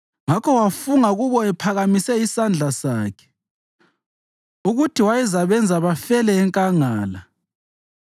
Ngakho wafunga kubo ephakamise isandla sakhe ukuthi wayezabenza bafele enkangala,